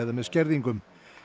með skerðingum